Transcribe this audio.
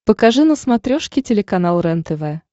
покажи на смотрешке телеканал рентв